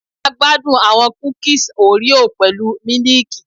A gbadun awọn kukis oreo pẹlu miliiki